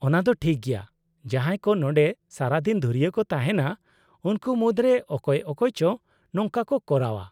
-ᱚᱱᱟ ᱫᱚ ᱴᱷᱤᱠ ᱜᱮᱭᱟ, ᱡᱟᱦᱟᱸᱭ ᱠᱚ ᱱᱚᱸᱰᱮ ᱥᱟᱨᱟᱫᱤᱱ ᱫᱷᱩᱨᱤᱭᱟᱹ ᱠᱚ ᱛᱟᱦᱮᱸᱱᱟ, ᱩᱱᱠᱩ ᱢᱩᱫᱨᱮ ᱚᱠᱚᱭ ᱚᱠᱚᱭ ᱪᱚ ᱱᱚᱝᱠᱟ ᱠᱚ ᱠᱚᱨᱟᱣᱼᱟ ᱾